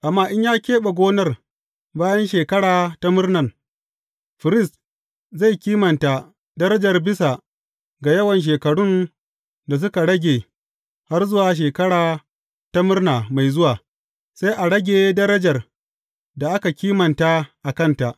Amma in ya keɓe gonar bayan Shekara ta Murnan, firist zai kimanta darajar bisa ga yawan shekarun da suka rage har zuwa Shekara ta Murna mai zuwa, sai a rage darajar da aka kimanta a kanta.